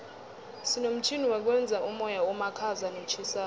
sinomtjhini wokwenza umoya omakhaza notjhisako